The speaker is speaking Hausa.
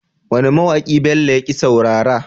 Wane ma waki Bello yake saurara?